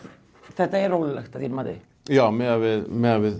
þetta er ólöglegt að þínu mati já miðað við miðað við